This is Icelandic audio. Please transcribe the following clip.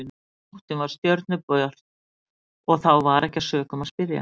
Önnur nóttin var stjörnubjört og þá var ekki að sökum að spyrja.